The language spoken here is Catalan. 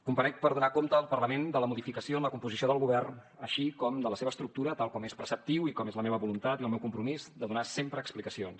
comparec per donar compte al parlament de la modificació en la composició del govern així com de la seva estructura tal com és preceptiu i com és la meva voluntat i el meu compromís de donar sempre explicacions